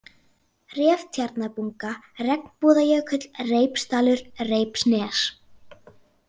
Reftjarnabunga, Regnbúðajökull, Reipsdalur, Reipsnes